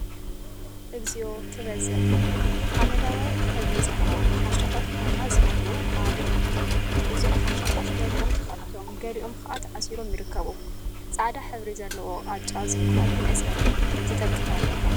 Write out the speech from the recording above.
እግዚኦ! ኽበዝሕ ሓመደዋይ ሕብሪ ዘለዎም ኽሻታት ቡና ዝመልኡ ኣብ ሓመደዋይ ድሕረ ባይታ ይርከቡ። እዞም ኽሻታት ገሊኦም ተከፊቶም ገሊኦም ከዓ ተኣሲሮም ይርከቡ። ጻዕዳ ሕብሪ ዘለዎ ቃጫ ዝብሃል መእሰሪ ዝጠቅም ኣሎ።